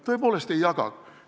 Tõepoolest ei jaga!